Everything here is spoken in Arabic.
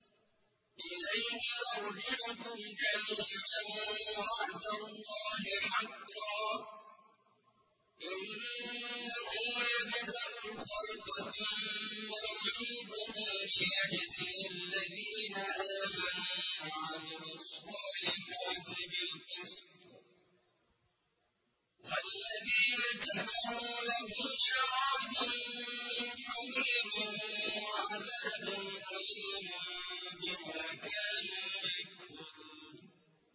إِلَيْهِ مَرْجِعُكُمْ جَمِيعًا ۖ وَعْدَ اللَّهِ حَقًّا ۚ إِنَّهُ يَبْدَأُ الْخَلْقَ ثُمَّ يُعِيدُهُ لِيَجْزِيَ الَّذِينَ آمَنُوا وَعَمِلُوا الصَّالِحَاتِ بِالْقِسْطِ ۚ وَالَّذِينَ كَفَرُوا لَهُمْ شَرَابٌ مِّنْ حَمِيمٍ وَعَذَابٌ أَلِيمٌ بِمَا كَانُوا يَكْفُرُونَ